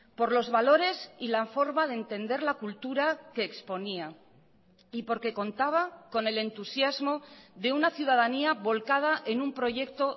por los valores y la forma de entender la cultura que exponía y porque contaba con el entusiasmo de una ciudadanía volcada en un proyecto